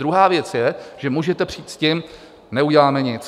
Druhá věc je, že můžete přijít s tím - neuděláme nic.